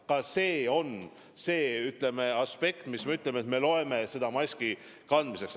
Ka see on uus aspekt, et me loeme seda maski kandmiseks.